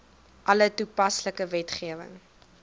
alle toepaslike wetgewing